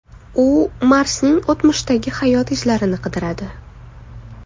U Marsning o‘tmishdagi hayot izlarini qidiradi .